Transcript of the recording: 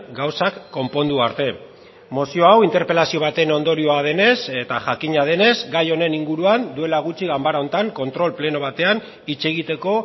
gauzak konpondu arte mozio hau interpelazio baten ondorioa denez eta jakina denez gai honen inguruan duela gutxi ganbara honetan kontrol pleno batean hitz egiteko